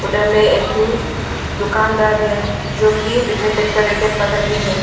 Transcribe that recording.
उधर में एक ठो दुकानदार है जो कि बैडमिंटन का रैकेट पकड़ के है।